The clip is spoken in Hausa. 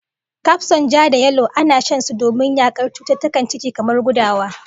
Kafson ja-da-yalo ana shan su domin yakar cututtukan ciki, kamar gudawa